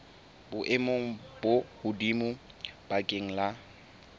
boemong bo hodimo bakeng la